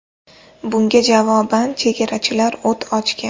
Bunga javoban chegarachilar o‘t ochgan.